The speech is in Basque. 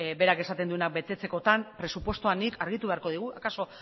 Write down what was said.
berak esaten duena betetzekotan presupuestoa argitu beharko digu akaso